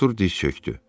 Artur diz çökdü.